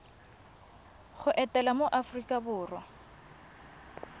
go etela mo aforika borwa